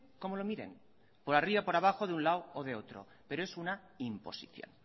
como lo miren por arriba por abajo por un lado o de otro pero es una imposición